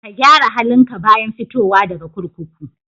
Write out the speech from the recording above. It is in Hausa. Ka gyara halinka bayan fitowa daga kurkuku.